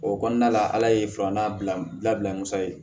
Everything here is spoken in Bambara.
O kɔnɔna la ala ye filanan bila musa ye